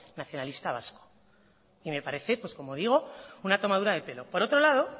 nacionalista vasco y me parece pues como digo una tomadura de pelo por otro lado